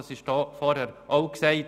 Das wurde zuvor auch gesagt.